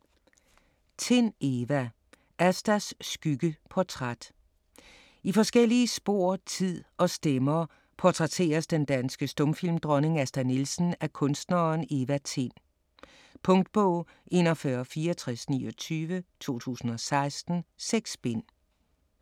Tind, Eva: Astas skygge: portræt I forskellige spor, tid og stemmer portrætteres den danske stumfilmdronning Asta Nielsen af kunstneren Eva Tind. Punktbog 416429 2016. 6 bind.